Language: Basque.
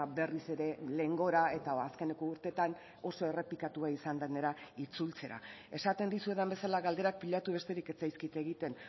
berriz ere lehengora eta azkeneko urteetan oso errepikatua izan denera itzultzera esaten dizuedan bezala galderak pilatu besterik ez zaizkit egiten